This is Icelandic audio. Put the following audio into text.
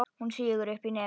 Hún sýgur upp í nefið.